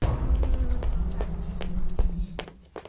открой картину катись